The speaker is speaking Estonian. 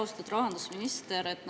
Austatud rahandusminister!